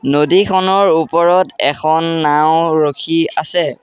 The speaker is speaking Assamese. নদীখনৰ ওপৰত এখন নাও ৰখি আছে।